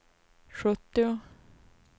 sjuttio